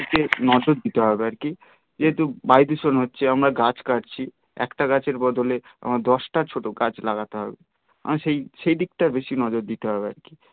এই দিকে নজর দিতে হবে আর কি যেহেতু বায়ু দূষণ হচ্ছে আমরা গাছ কাটছি একটা গাছের বদলে দশ টা ছোট গাছ লাগাতে হবে আমি সেই সেই দিকটাই বেশি নজর দিতে হবে আর কি